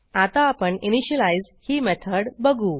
आता आपण इनिशियलाईज ही मेथड बघू